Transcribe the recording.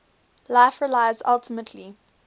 life relies ultimately